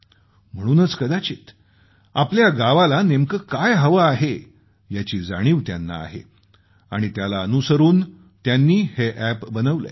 म्हणूनच कदाचित आपल्या गावाला नेमकं काय हवं आहे याची जाणीव त्यांना आहे आणि त्याला अनुसरून त्यांनी हे अॅप बनवलंय